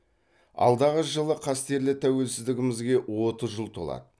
алдағы жылы қастерлі тәуелсіздігімізге отыз жыл толады